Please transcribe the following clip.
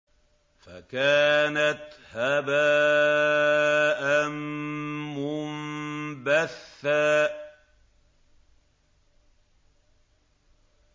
فَكَانَتْ هَبَاءً مُّنبَثًّا